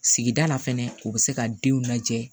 Sigida la fɛnɛ u bɛ se ka denw lajɛ